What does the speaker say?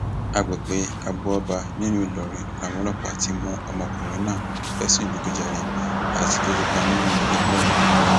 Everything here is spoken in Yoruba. àgbègbè agboọba nílùú ìlọrin làwọn ọlọpàá ti mú ọmọkùnrin náà fẹsùn ìdígunjalè àti kí kópa nínú ẹgbẹ òkùnkùn